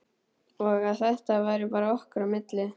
Og að þetta væri bara okkar á milli.